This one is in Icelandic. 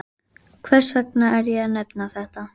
Gott bretti er hreinlega lífsnauðsyn við eldamennskuna.